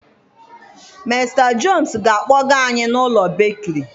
Mr jones ga akpoga anyị na ụlọ bekiri